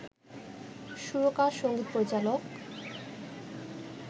সুরকার, সঙ্গীত পরিচালক